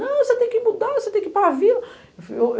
Não, você tem que mudar, você tem que ir para a vila.